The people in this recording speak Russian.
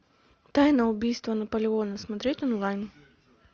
тайна убийства наполеона смотреть онлайн